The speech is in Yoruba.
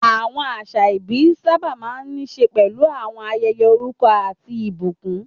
Àwọn àṣà ìbí sábà máa ń ní í ṣe pẹ̀lú àwọn ayẹyẹ orúkọ àti ìbùkún.